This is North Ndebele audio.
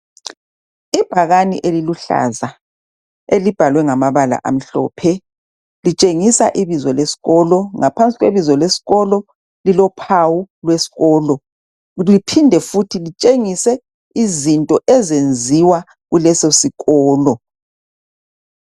Ibhakane eliluhlaza elibhalwe ngamabala amhlophe litshengisa ibizo lesikolo ngaphansi kwebizo lesikolo kulophawu lwesikolo bephinde futhi kutshengise izinto ezenziwa kuleso sikolo.